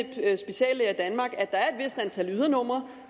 speciallæger i danmark at der er et vist antal ydernumre